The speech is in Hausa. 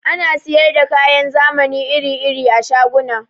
Ana siyar da kayan zamani iri-iri a shaguna.